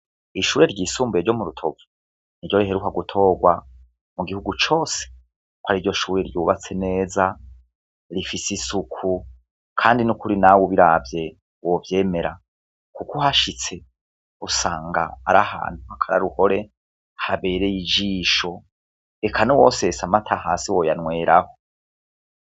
Ishure ryisumbuye ryo mu Rutovu niryo riheruka gutorwa mu gihugu cose ko ariryo shure ryubatse neza rifise isuku kandi nukuri nawe ubiravye wovyemera kuko uhashitse usanga ari ahantu hakaroruhore habereye ijisho eka nuwosesa amata hasi woyanweraho.